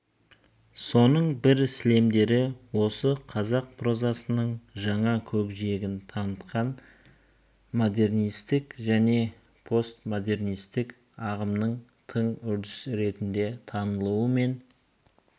соның бір сілемдері осы қазақ прозасының жаңа көкжиегін танытқан модернистік және постмодернистік ағымның тың үрдіс ретінде танылуы мен